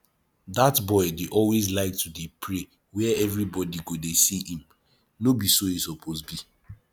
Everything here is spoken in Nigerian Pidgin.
dat boy dey always like to dey pray where everybody go dey see him no be so e suppose be